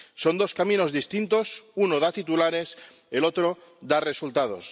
Son dos caminos distintos. Uno da titulares, el otro da resultados.